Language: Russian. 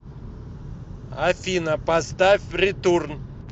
афина поставь ретурн